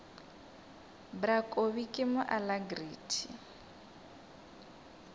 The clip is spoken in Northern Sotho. bra kobi mo ke alacrity